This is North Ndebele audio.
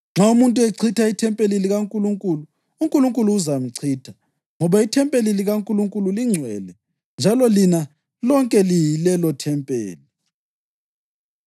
Nxa umuntu echitha ithempeli likaNkulunkulu, uNkulunkulu uzamchitha ngoba ithempeli likaNkulunkulu lingcwele njalo lina lonke liyilelothempeli.